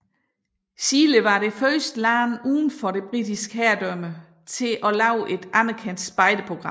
Chile var det første land udenfor det Britiske herredømme til at have et anerkendt spejderprogram